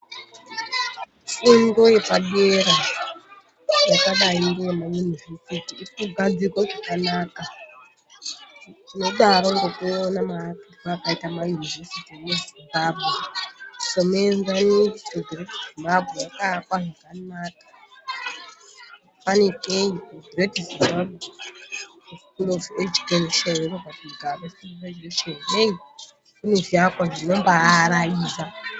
Fundo yepadera yakadai ngeyema yunivhesiti iri kugadzirwe zvakanaka tinobaaona ngemaakirwe akaitwa mayunivhesuti emuZimbabwe fanikei kuGreat Zimbabwe heyii kune zviakwa zvinombaaraidza.